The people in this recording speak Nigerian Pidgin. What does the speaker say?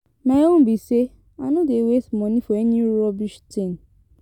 My own be say I no dey waste money for any rubbish thing.